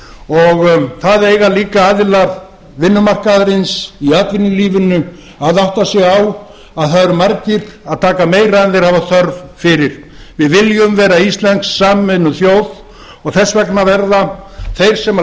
og það eiga líka aðilar vinnumarkaðarins í atvinnulífinu að átta sig á að það eru margir að taka meira en þeir hafa þörf fyrir við viljum vera íslensk samvinnuþjóð og þess vegna verða þeir sem